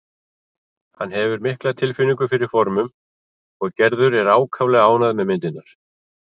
Hann hefur mikla tilfinningu fyrir formum og Gerður er ákaflega ánægð með myndirnar.